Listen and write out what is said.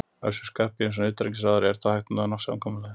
Össur Skarphéðinsson, utanríkisráðherra: Er þá hægt að ná samkomulagi?